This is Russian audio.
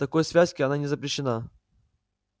такой связке она не запрещена